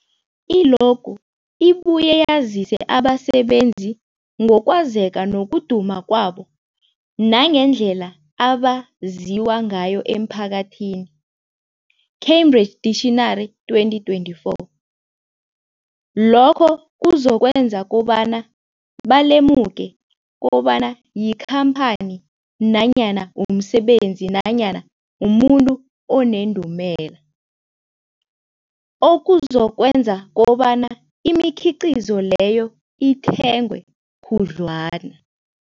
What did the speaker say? I-logo ibuye yazise abasebenzisi ngokwazeka nokuduma kwabo nangendlela abaziwa ngayo emphakathini, Cambridge Dictionary 2024. Lokho kuzokwenza kobana balemuke kobana yikhamphani nanyana umsebenzi nanyana umuntu onendumela, okuzokwenza kobana imikhiqhizo leyo ithengwe khudlwana.